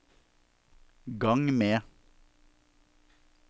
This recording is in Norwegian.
gang med